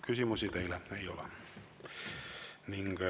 Küsimusi teile ei ole.